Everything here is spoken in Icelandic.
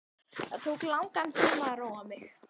Það tók langan tíma að róa mig.